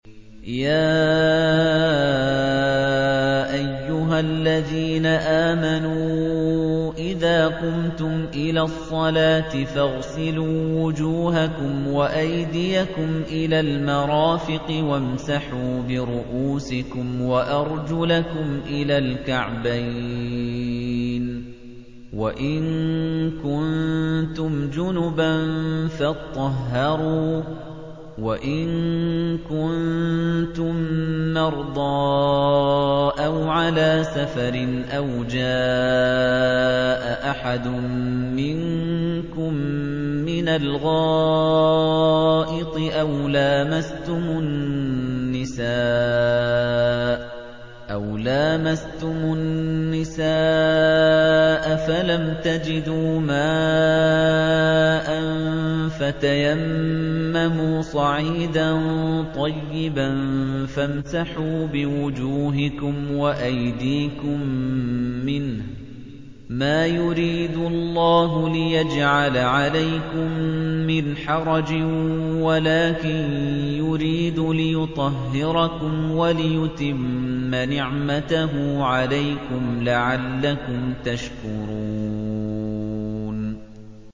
يَا أَيُّهَا الَّذِينَ آمَنُوا إِذَا قُمْتُمْ إِلَى الصَّلَاةِ فَاغْسِلُوا وُجُوهَكُمْ وَأَيْدِيَكُمْ إِلَى الْمَرَافِقِ وَامْسَحُوا بِرُءُوسِكُمْ وَأَرْجُلَكُمْ إِلَى الْكَعْبَيْنِ ۚ وَإِن كُنتُمْ جُنُبًا فَاطَّهَّرُوا ۚ وَإِن كُنتُم مَّرْضَىٰ أَوْ عَلَىٰ سَفَرٍ أَوْ جَاءَ أَحَدٌ مِّنكُم مِّنَ الْغَائِطِ أَوْ لَامَسْتُمُ النِّسَاءَ فَلَمْ تَجِدُوا مَاءً فَتَيَمَّمُوا صَعِيدًا طَيِّبًا فَامْسَحُوا بِوُجُوهِكُمْ وَأَيْدِيكُم مِّنْهُ ۚ مَا يُرِيدُ اللَّهُ لِيَجْعَلَ عَلَيْكُم مِّنْ حَرَجٍ وَلَٰكِن يُرِيدُ لِيُطَهِّرَكُمْ وَلِيُتِمَّ نِعْمَتَهُ عَلَيْكُمْ لَعَلَّكُمْ تَشْكُرُونَ